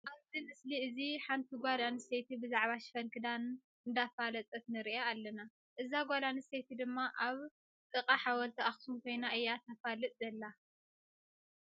ኣብዚ ምስሊ እዚ ሓንቲ ጓል ነስተይቲ ብዛዕባ ሽፈን ክዳና እነዳፋለጠት ንርኣ ኣለና። እዛ ጓል ኣንስተይቲ ድማ ኣብ ንቃ ሓወልቲ ኣክሱም ኮይና እያ ተፋልጥ ዘላ።